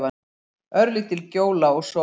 Örlítil gjóla og sól.